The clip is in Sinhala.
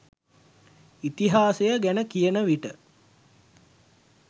ඉතිහාසය ගැන කියන විට